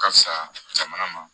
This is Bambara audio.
Ka fisa jamana ma